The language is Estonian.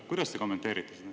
Kuidas te kommenteerite?